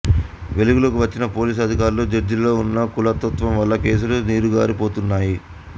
వెలుగులోకి వచ్చినా పొలీసు అధికార్లు జడ్జిలలో ఉన్న కులతత్వం వల్ల కేసులు నీరుగారి పోతుంటాయి